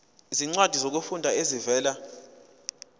izincwadi zokufunda ezivela